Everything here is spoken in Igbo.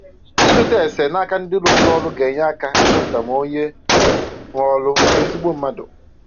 Ịjụta ese n'aka ndi rụburu ọrụ aga enyere aka ịchọpụta ma onye nwe ọrụ bụ ezigbo mmadụ